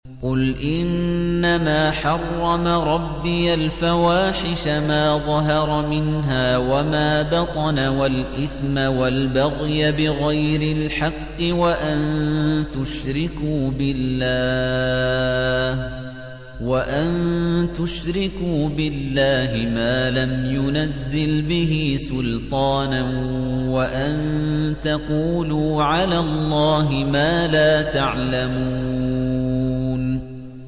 قُلْ إِنَّمَا حَرَّمَ رَبِّيَ الْفَوَاحِشَ مَا ظَهَرَ مِنْهَا وَمَا بَطَنَ وَالْإِثْمَ وَالْبَغْيَ بِغَيْرِ الْحَقِّ وَأَن تُشْرِكُوا بِاللَّهِ مَا لَمْ يُنَزِّلْ بِهِ سُلْطَانًا وَأَن تَقُولُوا عَلَى اللَّهِ مَا لَا تَعْلَمُونَ